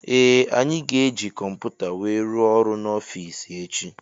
Ee anyị ga -eji kọmputa wee rụọ ọrụ n'ofici echi.